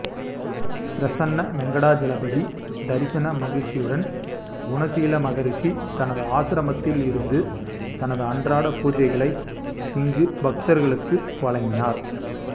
பிரசன்ன வெங்கடாசலபதி தரிசன மகிழ்ச்சியுடன் குணசீல மகரிஷி தனது ஆசிரமத்தில் இருந்து தனது அன்றாட பூசைகளை இங்கு பக்தர்களுக்கு வழங்கினார்